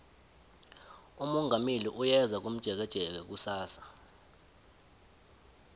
umongameli uyeza komjekejeke kusasa